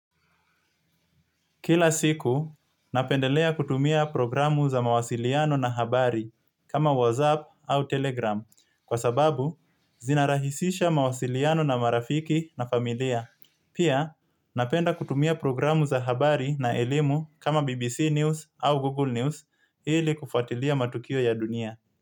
Kila siiku napendelea kutumia mitandao za mawasiliano na habari kama whats app ama telegram kwa sababu zinaraisha mawasilianao na marafiki na familia. Pia, napenda kutumia programu za habari na elimu kama BBC News au Google News ili kufuatilia matukio ya dunia.